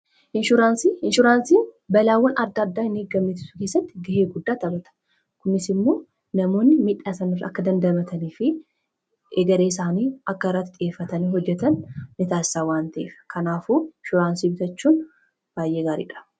inshuraansii balaawwan adda addaa hin eegamne ittisuu keessatti gahee guddaa tabata kumis immoo namoonni miidhaasanaaf akka dandamatanii fi egaree isaanii akka irratti xiyyeeffatanii hojjetan ni taasisa waanta'ef kanaafuu inshuuraansii bitachuun baayyee gaariidha